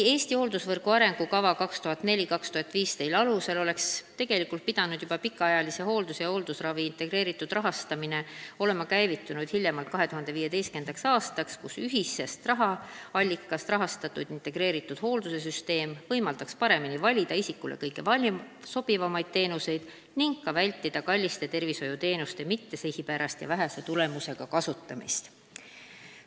"Eesti hooldusravivõrgu arengukava 2004–2015" alusel oleks pikaajalise hoolduse ja hooldusravi integreeritud rahastamine pidanud olema käivitunud juba 2015. aastal, võimaldades ühisest rahaallikast rahastatud integreeritud hoolduse süsteemil paremini valida isikule kõige sobivamaid teenuseid ning vältida kalliste tervishoiuteenuste mittesihipärast ja vähese tulemusega kasutamist.